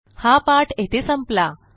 हा पाठ येथे संपला